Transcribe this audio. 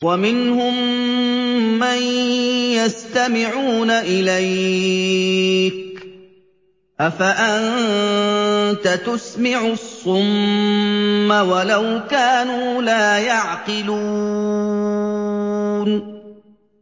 وَمِنْهُم مَّن يَسْتَمِعُونَ إِلَيْكَ ۚ أَفَأَنتَ تُسْمِعُ الصُّمَّ وَلَوْ كَانُوا لَا يَعْقِلُونَ